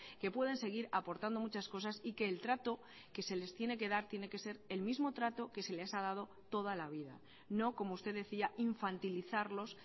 que pueden seguir aportando muchas cosas y que el trato que se les tiene que dar tiene que ser el mismo trato que se les ha dado toda la vida no como usted decía infantilizarlos